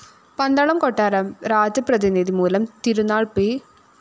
പന്തളം കൊട്ടാരം രാജപ്രതിനിധി മൂലം തിരുനാള്‍ പി